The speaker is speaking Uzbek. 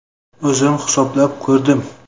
O‘zim hisoblab ko‘rdim.